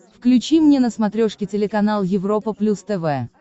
включи мне на смотрешке телеканал европа плюс тв